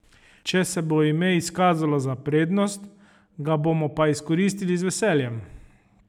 Če se bo ime izkazalo za prednost, ga bomo pa izkoristili z veseljem.